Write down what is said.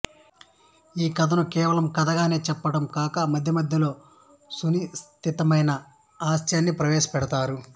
ఈ కథను కేవలం కథగానే చెప్పటం కాక మధ్య మధ్యలో సునిశితమైన హాస్యాన్ని ప్రవేశ పెడతారు